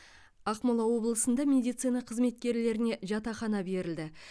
ақмола облысында медицина қызметкерлеріне жатақхана берілді